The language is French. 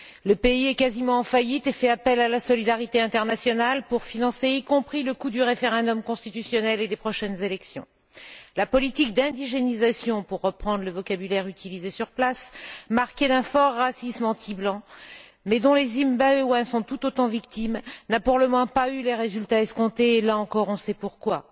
Le pays est quasiment en faillite et fait appel à la solidarité internationale pour financer jusqu'au coût du référendum constitutionnel et des prochaines élections. La politique d'indigénisation, pour reprendre le vocabulaire utilisé sur place, marquée d'un fort racisme anti blanc, mais dont les Zimbabwéens sont tout autant victimes, n'a pour le moment pas eu les résultats escomptés et là encore, on sait pourquoi.